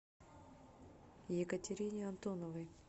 екатерине антоновой